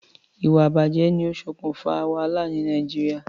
Ìwà ìbàjé ni o sokùn fa wàhálà ni Naijiria